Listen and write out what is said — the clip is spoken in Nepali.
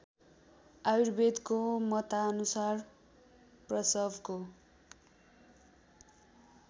आयुर्वेदको मतानुसार प्रसवको